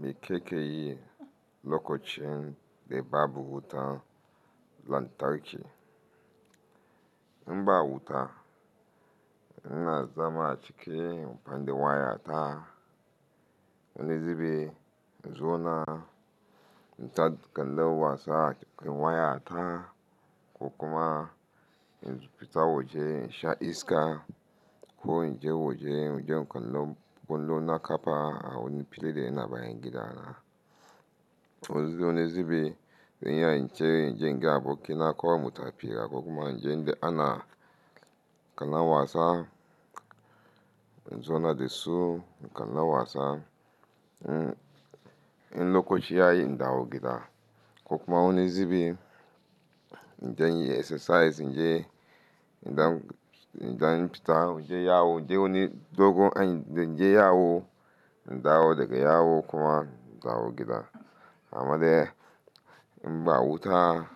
Me kake yi lokocin da babu wuta lantarki. Inba wuta, ina zama a ciki inyi amfani da waya ta. Wani zubi in zona inta kalla wasa acikin waya ta ko kuma in fita waje in sha iska ko inje waje inje in kalla kollo. Na kafa a wani fili da yana bayangida na. Wani zubin zan iya ince in je inga aboki na kowai mutafi ko kuma in je inga ana kallon wasa. Zona da su kallon wasa, in lokoci yayi in dawo gida ko kuma wani zubin in je in yi exercise in je in dan fita waje yawo. In je wani dogon a in je yawo in dawo daga yawo kuma in dawo gida. Amma dai inba wuta